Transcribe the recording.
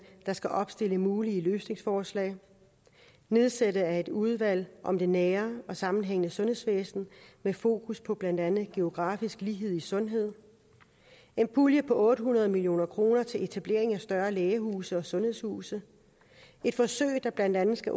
der skal opstille mulige løsningsforslag nedsættelse af et udvalg om det nære og sammenhængende sundhedsvæsen med fokus på blandt andet geografisk lighed i sundhed en pulje på otte hundrede million kroner til etablering af større lægehuse og sundhedshuse et forsøg der blandt andet skal